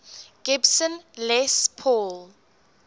gibson les paul